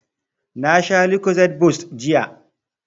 Na sha lucozade boost jiya